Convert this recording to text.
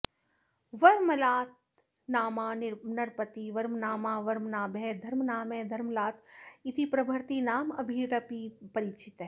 वर्मलातनामा नृपतिः वर्मनामा वर्मनाभः धर्मनामः धर्मलात इतिप्रभृति नामभिरपि परिचितः